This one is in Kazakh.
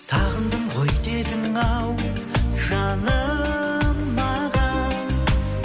сағындым ғой дедің ау жаным маған